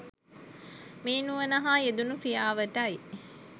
මේ නුවණ හා යෙදුන ක්‍රියාවටයි.